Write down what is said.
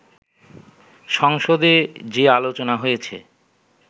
সংসদে যে আলোচনা হয়েছে